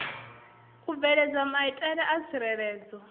u bveledza maitele a tsireledzo